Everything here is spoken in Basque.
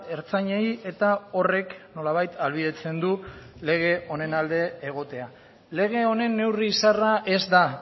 ertzainei eta horrek nolabait ahalbidetzen du lege honen alde egotea lege honen neurri zaharra ez da